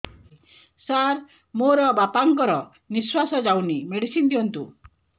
ସାର ମୋର ବାପା ଙ୍କର ନିଃଶ୍ବାସ ଯାଉନି ମେଡିସିନ ଦିଅନ୍ତୁ